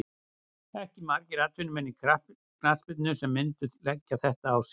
Ekki margir atvinnumenn í knattspyrnu sem myndu leggja þetta á sig.